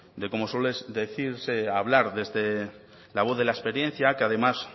de como suele decirse hablar desde la voz de la experiencia que además